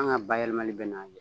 An ka bayɛlɛmali bɛ na